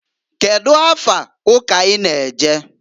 Kedu afa ụka i na- eje?